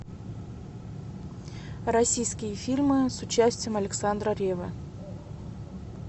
российские фильмы с участием александра реввы